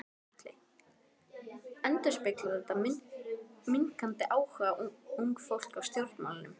Gunnar Atli: Endurspeglar þetta minnkandi áhuga ungs fólks á stjórnmálum?